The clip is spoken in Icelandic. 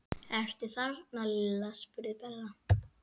Ertu þarna Lilla? spurði Bella.